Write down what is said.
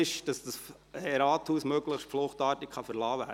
Das heisst, dass dieses Rathaus möglichst fluchtartig verlassen wird.